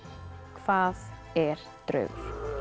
hvað er draugur